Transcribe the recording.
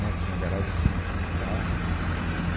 Não tinha garagem, a gente não tinha carro.